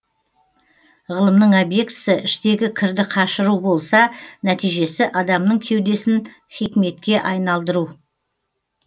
ғылымның обьектісі іштегі кірді қашыру болса нәтижесі адамның кеудесін хикметке айналдыру